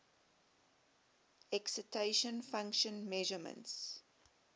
excitation function measurements